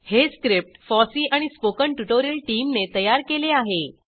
हे script FOSSEE आणि spoken tutorial टीमने तयार केले आहे